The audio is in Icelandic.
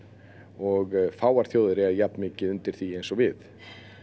og fáar þjóðir eiga jafn mikið undir því eins og við